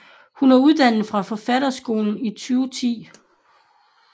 Hun er uddannet fra Forfatterskolen 2010